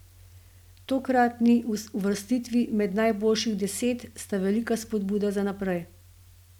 Tokratni uvrstitvi med najboljših deset sta velika spodbuda za naprej.